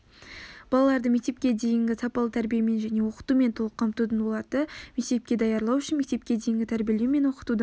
балаларды мектепке дейінгі сапалы тәрбиемен және оқытумен толық қамтудың оларды мектепке даярлау үшін мектепке дейінгі тәрбиелеу мен оқытудың